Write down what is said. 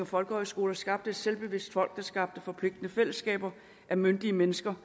folkehøjskolerne skabte et selvbevidst folk der skabte forpligtende fællesskaber af myndige mennesker